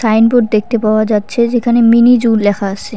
Signboard দেখতে পাওয়া যাচ্ছে যেখানে মিনি জু লেখা আসে।